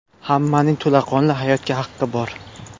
Hammaning to‘laqonli hayotga haqqi bor.